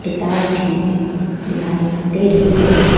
किताब भी दिखाई दे रही है।